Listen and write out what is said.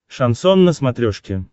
шансон на смотрешке